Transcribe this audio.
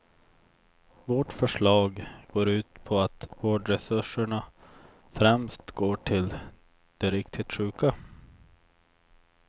Vårt förslag går ut på att vårdresurserna främst går till de riktigt sjuka.